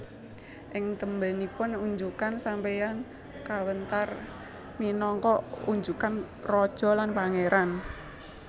Ing tembénipun unjukan sampanye kawéntar minangka unjukan raja lan pangéran